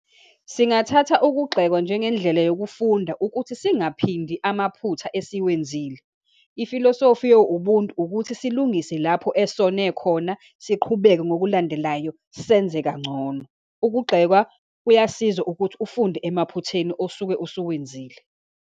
Singathatha ukugxekwa njengendlela yokufunda ukuthi singaphindi amaphutha esiwenzile. Ifilosofi yo-ubuntu ukuthi silungise lapho esone khona, siqhubeke ngokulandelayo, senze kangcono. Ukugxekwa kuyasiza ukuthi ufunde emaphutheni osuke osuwenzile.